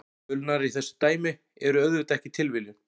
Tölurnar í þessu dæmi eru auðvitað ekki tilviljun.